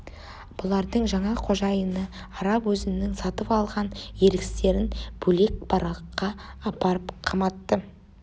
бұлардың жаңа қожайыны араб өзінің сатып алған еріксіздерін бөлек баракқа апарып қаматты